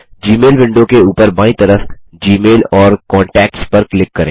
जी mail window के ऊपर बायीं तरफ जीमेल और कांटैक्ट्स पर क्लिक करें